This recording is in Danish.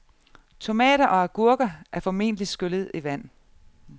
Tomater og agurker er formentlig skyllet i vand.